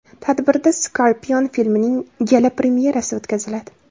Tadbirda Scorpion filmining gala – premyerasi o‘tkaziladi.